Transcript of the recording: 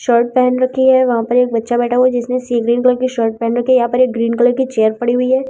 Shirt पहन रखी है वहां पर एक बच्चा बैठा हुआ जिसने सीमेंट कलर की शर्ट पहन रखी यहां पे एक ग्रीन कलर की चेयर पड़ी हुई है।